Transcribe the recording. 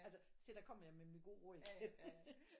Altså se der kom jeg med mit gode råd